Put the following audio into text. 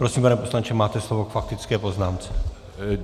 Prosím, pane poslanče, máte slovo k faktické poznámce.